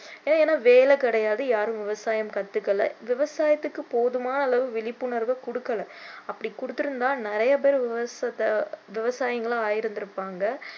ஏன்னா வேலை கிடையாது யாரும் விவசாயம் கத்துக்கலை விவசாயத்தைுக்கு போதுமான அளவு விழிப்புணர்வு கொடுக்கல அப்படி கொடுத்திருந்தா நிறைய பேரு விவசாயி~ விவசாயிகளா ஆயிருந்திருப்பாங்க